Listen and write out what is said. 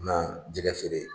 Na jɛgɛ feere